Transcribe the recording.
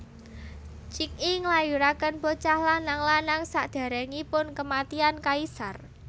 Cixi nglahirakén bocah lanang lanang sakdéréngipun kèmatian kaisar